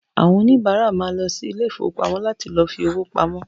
Àwọn òníbárà ma lọ sí ilé ìfowópamọ́ láti lọ fi owó pamọ́